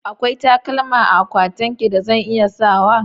Akwai takalma a akwatinki da zan iya sawa?